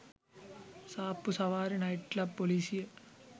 සාප්පු සවාරි night club පොලිසිය